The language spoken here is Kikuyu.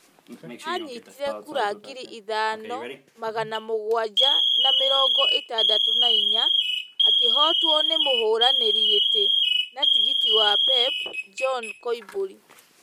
anyitire kura ngiri ithano magana mũgwanja na mĩrongo ĩtandatũ na inya, akĩhootwo nĩ mũhũranĩri gĩtĩ na tigiti wa PEP, George Koimburi.